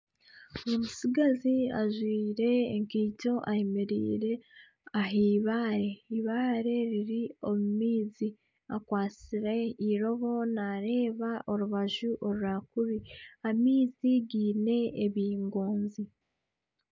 Omutsigazi ajwaire ekaito ayemereire ah'eibaare, eibaare eiri omu maizi akwatsire eirobo nareeba orubaju orwa kuri amaizi giine ebingoozi.